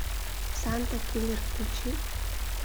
санта киллер включи